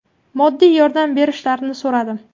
Moddiy yordam berishlarini so‘radim.